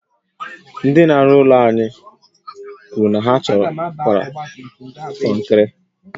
Ndị n'aru ụlọ anyi kwuru na ha chọkwuru konkiri